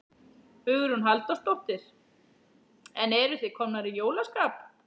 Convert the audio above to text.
Hugrún Halldórsdóttir: En eruð þið komnar í jólaskap?